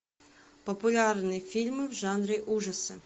популярные фильмы в жанре ужасы